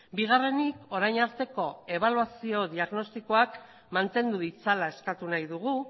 bigarrenik orain arteko ebaluazio diagnostikoak mantendu ditzala eskatu nahi dugu